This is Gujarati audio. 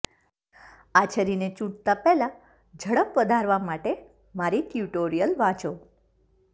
આ છરીને ચૂંટતા પહેલા ઝડપ વધારવા માટે મારી ટ્યુટોરીયલ વાંચો